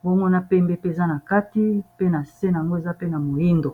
mbongo na pembe pe eza na kati pe na se na yango eza pe na moindo